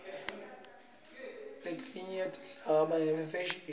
lelitaha litsandza ifeshini